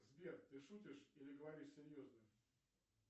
сбер ты шутишь или говоришь серьезно